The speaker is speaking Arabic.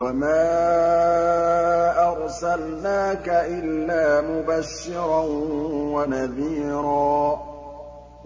وَمَا أَرْسَلْنَاكَ إِلَّا مُبَشِّرًا وَنَذِيرًا